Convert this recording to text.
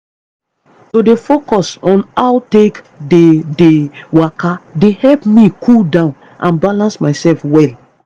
to dey focus on how take dey dey waka dey help me cool down and balance myself well.